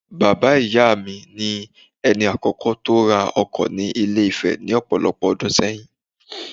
Bàbá ìyá mi, ni ẹni àkọ́kọ́ tó ra ọkọ ni Ilé-Ifẹ̀ ní ọ̀pọ̀lọpọ̀ ọdún ṣẹ́yìn